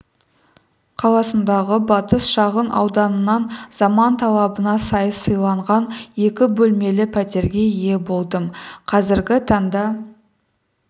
қаласындағы батыс шағын ауданынан заман талабына сай салынған екі бөлмелі пәтерге ие болдым қазіргі таңда